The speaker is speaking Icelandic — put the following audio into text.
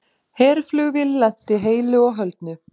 Herflugvél lenti heilu og höldnu